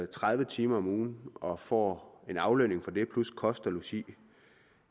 tredive timer om ugen og får en aflønning for det plus kost og logi